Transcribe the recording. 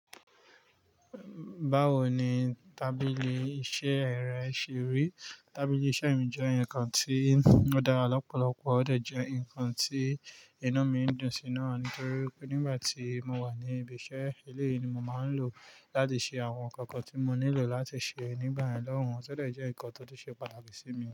Báwo ni tábìlì iṣẹ́ rẹ ṣe rí? Tábìlì iṣẹ́ mi jẹ́ nǹkan tí ó dára lọ́pọ̀lọpọ̀, óò dẹ̀ jẹ́ ǹkan tí inú mi ń dún sí i náà ní torí wípé nígbà tí mo wà ní ibi iṣẹ́, eléyìí ni mo máa ń lò láti ṣe àwọn ǹkan kan tí mo nílò láti ṣe nígbà yẹn lọ́hùn ún. Tí ó dẹ̀ jẹ́ nǹkan tó ṣe pàtàkì sí mi.